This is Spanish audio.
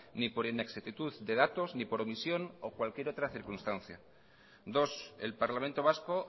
ni por inexactitud de datos ni por omisión o cualquier otra circunstancia dos el parlamento vasco